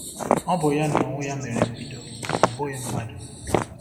O bu ya n’onwe ya mere mbido, ọ bụghị mmadụ.